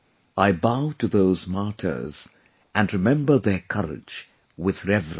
I bow to those martyrs and remember their courage with reverence